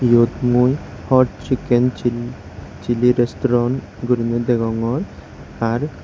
eyot mui hot chicken chilli chilli restaurant gorinay degogor ar.